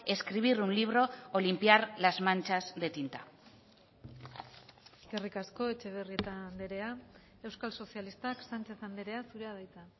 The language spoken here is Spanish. escribir un libro o limpiar las manchas de tinta eskerrik asko etxebarrieta andrea euskal sozialistak sánchez andrea zurea da hitza